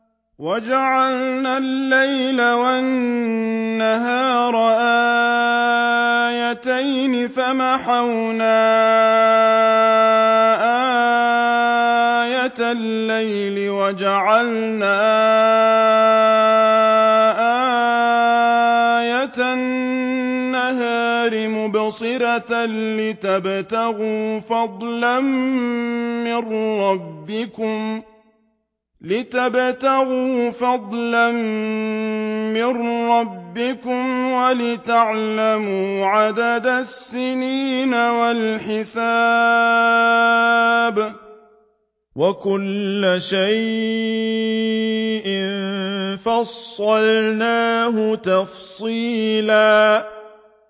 وَجَعَلْنَا اللَّيْلَ وَالنَّهَارَ آيَتَيْنِ ۖ فَمَحَوْنَا آيَةَ اللَّيْلِ وَجَعَلْنَا آيَةَ النَّهَارِ مُبْصِرَةً لِّتَبْتَغُوا فَضْلًا مِّن رَّبِّكُمْ وَلِتَعْلَمُوا عَدَدَ السِّنِينَ وَالْحِسَابَ ۚ وَكُلَّ شَيْءٍ فَصَّلْنَاهُ تَفْصِيلًا